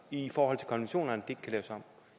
i forhold til konventionerne at ikke kan laves om